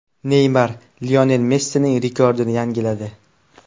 Neymar Lionel Messining rekordini yangiladi.